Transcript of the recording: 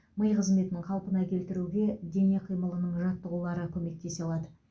ми қызметін қалпына келтіруге дене қимылының жаттығулары көмектесе алады